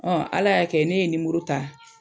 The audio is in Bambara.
Ala y'a kɛ ne ye nimoro ta